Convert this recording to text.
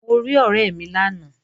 Mo rí ọ̀rẹ́ mi lánàá